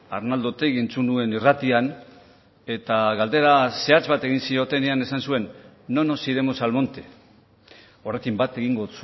arnaldo otegi entzun nuen irratian eta galdera zehatz bat egin ziotenean esan zuen no nos iremos al monte horrekin bat egingo